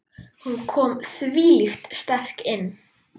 Hún kom þvílíkt sterk inn.